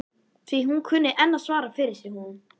Því hún kunni enn að svara fyrir sig hún